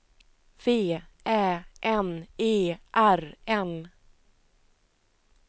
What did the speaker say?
V Ä N E R N